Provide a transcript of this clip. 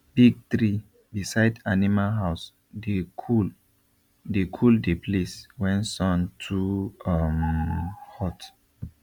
big tree beside animal house dey cool the cool the place when sun too um hot